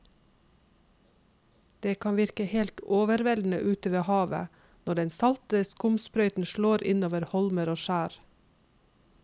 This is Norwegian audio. Det kan virke helt overveldende ute ved havet når den salte skumsprøyten slår innover holmer og skjær.